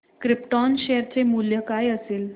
krypton share चे मूल्य काय असेल